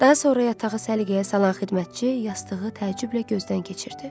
Daha sonra yatağı səliqəyə salan xidmətçi yastığı təəccüblə gözdən keçirdi.